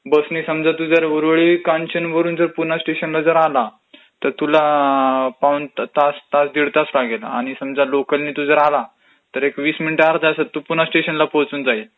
बसनी समजा तू ऊरळी कांचनवरून पुणा स्टेशनला जर आला तर तुला पाऊण तास दीड तास लागेल, आणि समजा लोकलनी तू जर आला तर एक वीस मिनिट अर्ध्या तासात तू पुणा स्टेशनला पोचून जाईल.